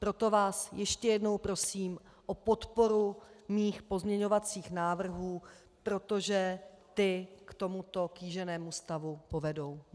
Proto vás ještě jednou prosím o podporu mých pozměňovacích návrhů, protože ty k tomuto kýženému stavu povedou.